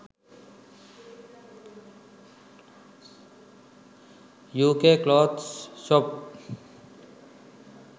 uk clothes shop